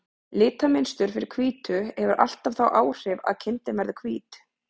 Litamynstur fyrir hvítu hefur alltaf þau áhrif að kindin verður hvít.